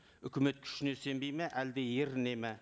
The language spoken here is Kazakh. үкімет күшіне сенбейді ме әлде ерінеді ме